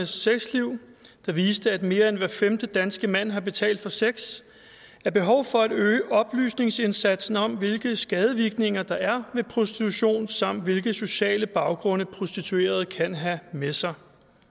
sexliv der viste at mere end hver femte danske mand har betalt for sex er behov for at øge oplysningsindsatsen om hvilke skadevirkninger der er ved prostitution samt hvilke sociale baggrunde prostituerede kan have med sig